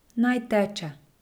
Naj teče.